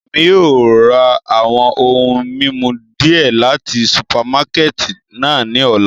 Emi yóò ra awọn ohun mimu diẹ lati supamakẹti náa ni ọla